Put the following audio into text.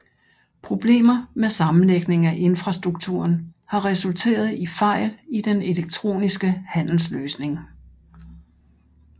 Problemer med sammenlægningen af infrastrukturen har resulteret i fejl i den elektroniske handelsløsning